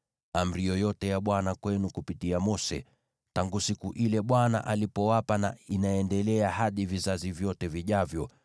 amri yoyote ya Bwana kwenu kupitia Mose, tangu siku ile Bwana alipowapa na inaendelea hadi vizazi vyote vijavyo;